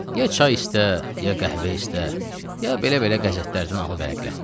Ya çay istə, ya qəhvə istə, ya belə-belə qəzetlərdən alıb vərəqlə.